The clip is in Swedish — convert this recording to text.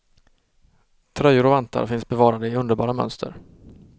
Tröjor och vantar finns bevarade i underbara mönster.